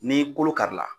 Ni kolo kari la